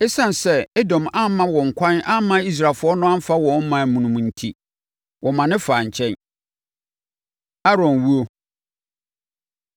Esiane sɛ Edom amma wɔn ɛkwan amma Israelfoɔ no amfa wɔn ɔman mu no enti, wɔmane faa nkyɛn. Aaron Owuo